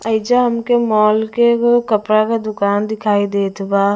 एहिजा हमके मॉल के एगो कपड़ा के दुकान दिखाई देत बा--